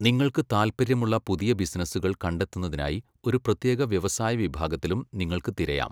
നിങ്ങൾക്ക് താൽപ്പര്യമുള്ള പുതിയ ബിസിനസുകൾ കണ്ടെത്തുന്നതിനായി ഒരു പ്രത്യേക വ്യവസായ വിഭാഗത്തിലും നിങ്ങൾക്ക് തിരയാം.